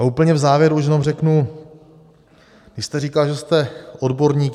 A úplně v závěru už jenom řeknu, vy jste říkal, že jste odborník.